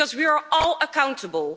Because we are all accountable.